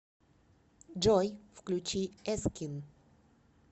джой включи эскин